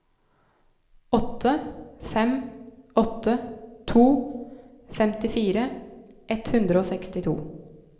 åtte fem åtte to femtifire ett hundre og sekstito